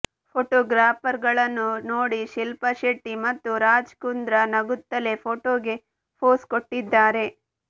photographer ಗಳನ್ನು ನೋಡಿ ಶಿಲ್ಪಾ ಶೆಟ್ಟಿ ಮತ್ತು ರಾಜ್ ಕುಂದ್ರಾ ನಗುತ್ತಲೇ ಫೋಟೋಗೆ ಪೋಸ್ ಕೊಟ್ಟಿದ್ದಾರೆ